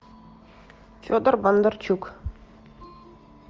федор бондарчук